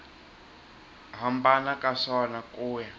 hambana ka swona ku ya